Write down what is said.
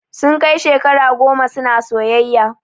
Sun kai shekara goma suna soyayya